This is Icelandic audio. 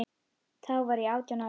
Þá var ég átján ára.